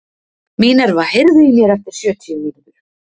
Minerva, heyrðu í mér eftir sjötíu mínútur.